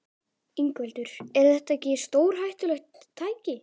Ingveldur: Er þetta ekki stórhættulegt tæki?